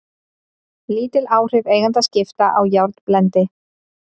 Lítil áhrif eigendaskipta á járnblendi